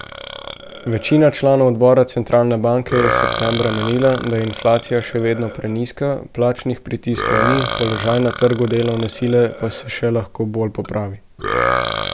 Večina članov odbora centralne banke je septembra menila, da je inflacija še vedno prenizka, plačnih pritiskov ni, položaj na trgu delovne sile pa se še lahko bolj popravi.